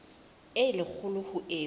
e le kgolo ho eo